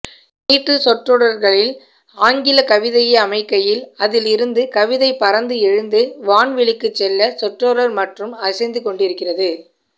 நீட்டுச் சொற்றொடர்களில் ஆங்கிலக் கவிதையை அமைக்கையில் அதிலிருந்து கவிதை பறந்து எழுந்து வான்வெளிக்குச் செல்ல சொற்றொடர் மட்டும் அசைந்துகொண்டிருக்கிறது